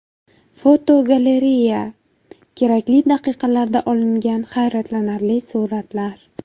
Fotogalereya: Kerakli daqiqalarda olingan hayratlanarli suratlar.